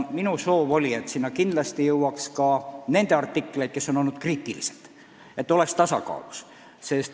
Minu soov oli, et sinna kindlasti jõuaks ka nende artikleid, kes on olnud kriitilised – kõik peab olema tasakaalus.